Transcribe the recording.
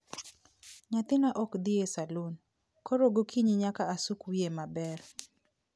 Nyathina ok dhi e salun, koro gokinyi nyaka asuk wiye maber